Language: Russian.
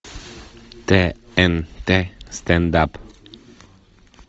тнт стендап